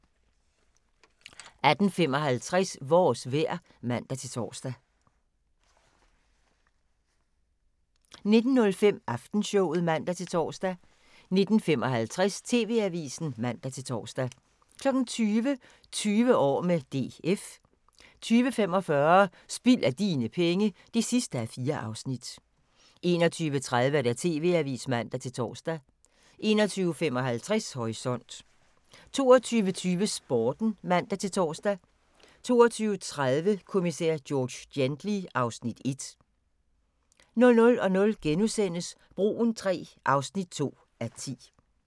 18:55: Vores vejr (man-tor) 19:05: Aftenshowet (man-tor) 19:55: TV-avisen (man-tor) 20:00: 20 år med DF 20:45: Spild af dine penge (4:4) 21:30: TV-avisen (man-tor) 21:55: Horisont 22:20: Sporten (man-tor) 22:30: Kommissær George Gently (Afs. 1) 00:00: Broen III (2:10)*